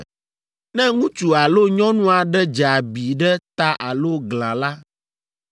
“Ne ŋutsu alo nyɔnu aɖe dze abi ɖe ta alo glã la,